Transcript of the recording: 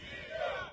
Rusiya!